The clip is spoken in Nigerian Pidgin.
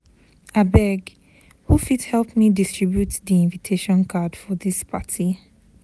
Abeg, who fit help me distribute di invitation card for dis party?